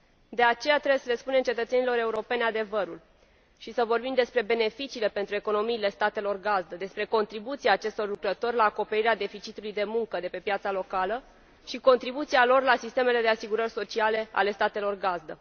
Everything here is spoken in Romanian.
De aceea, trebuie să le spunem cetățenilor europeni adevărul și să vorbim despre beneficiile pentru economiile statelor gazdă, despre contribuția acestor lucrători la acoperirea deficitului de muncă de pe piața locală și contribuția lor la sistemele de asigurări sociale ale statelor gazdă.